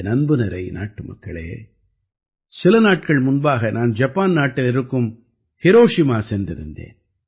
என் அன்புநிறை நாட்டுமக்களே சில நாட்கள் முன்பாக நான் ஜப்பான் நாட்டில் இருக்கும் ஹிரோஷிமா சென்றிருந்தேன்